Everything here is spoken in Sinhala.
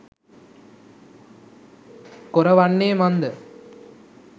කොර වන්නේ මන්ද?